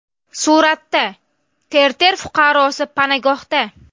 Suratda: Terter fuqarosi panagohda.